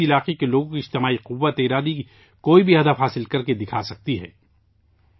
کسی خطے کے لوگوں کی اجتماعی قوت ارادی کسی بھی ہدف کو حاصل کرکے دکھا سکتی ہے